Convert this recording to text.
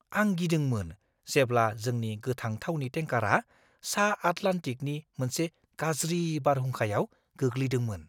आं गिदोंमोन जेब्ला जोंनि गोथां थावनि टेंकारा सा-आटलान्टिकनि मोनसे गाज्रि बारहुंखायाव गोग्लैदोंमोन।